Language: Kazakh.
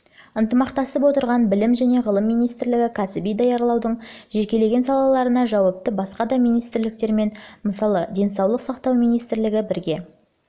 ынтымақтасып отырған білім және ғылым министрлігі кәсіби даярлаудың жекелеген салаларына жауапты басқа да министрліктермен мысалы денсаулық сақтау министрлігі бірге